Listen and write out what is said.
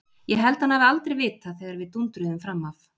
Ég held hann hafi aldrei vitað þegar við dúndruðum fram af.